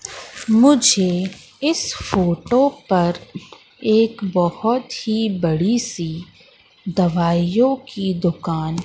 मुझे इस फोटो पर एक बहोत ही बड़ीसी दवाइयों की दुकान--